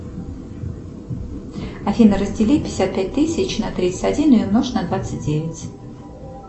афина раздели пятьдесят пять тысяч на тридцать один и умножь на двадцать девять